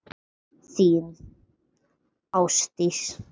Þín, Ásdís.